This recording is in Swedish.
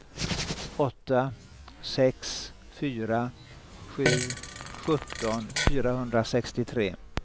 åtta sex fyra sju sjutton fyrahundrasextiotre